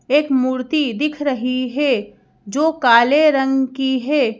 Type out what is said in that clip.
एक मूर्ति दिख रही है जो काले रंग की है।